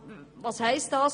Was heisst das?